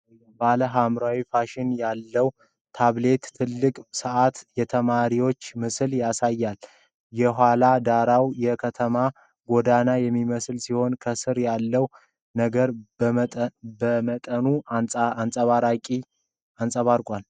ባለ ሐምራዊ ሽፋን ያለው ታብሌት ትልቅ ሰዓትና የተማሪዎችን ምስል ያሳያል። የኋላ ዳራው የከተማ ጎዳናን የሚመስል ሲሆን ከስር ያለውን ነገር በመጠኑ አንጸባርቋል።